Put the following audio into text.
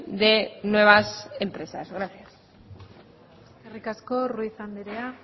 de nuevas empresas gracias eskerrik asko ruiz andrea